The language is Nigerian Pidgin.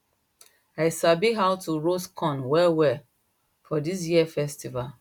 i sabi how to roast corn well well for this year festival